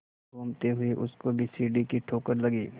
घूमते हुए उसको भी सीढ़ी की ठोकर लगी